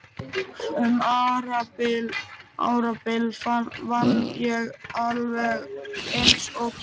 Um árabil vann ég alveg eins og skepna.